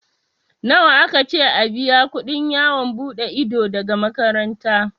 Nawa aka ce a biya kuɗin yawon buɗe ido daga makaranta?